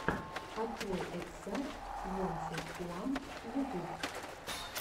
открой эксар твонти уан ютуб